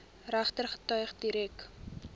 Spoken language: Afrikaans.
regter getuies direk